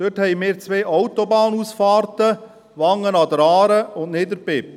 Dort haben wir zwei Autobahnausfahrten: Wangen an der Aare und Niederbipp.